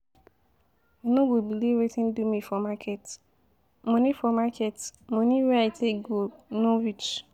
You no go believe Wetin do me for market, money for market money wey I take go e no reach.